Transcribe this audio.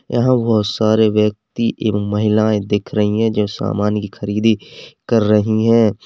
यहां बहुत सारे व्यक्ति एवं महिलाएं दिख रही है जो सामान की खरीदी कर रही है।